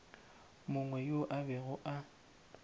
mongwe yo a bego a